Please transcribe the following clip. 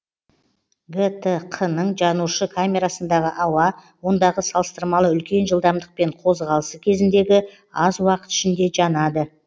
гтқ ның жанушы камерасындағы ауа ондағы салыстырмалы үлкен жылдамдықпен қозғалысы кезіндегі аз уақыт ішінде жанады